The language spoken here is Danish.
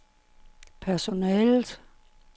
personalet